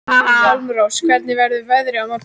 Hjálmrós, hvernig verður veðrið á morgun?